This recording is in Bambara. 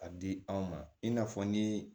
A di anw ma i n'a fɔ ni